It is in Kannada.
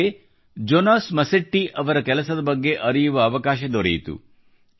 ನನಗೆ ಜೊನಾಸ್ ಮಸೆಟ್ಟಿ ಅವರ ಕೆಲಸದ ಬಗ್ಗೆ ಅರಿಯುವ ಅವಕಾಶ ದೊರೆಯಿತು